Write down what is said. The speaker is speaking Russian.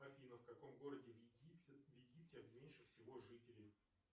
афина в каком городе в египте меньше всего жителей